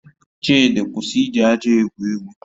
Chidi, kwụsị iji aja egwu egwu